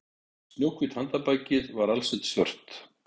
Snjóhvítt handarbakið var alsett svört